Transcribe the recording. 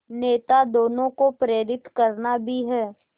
नेता दोनों को प्रेरित करना भी है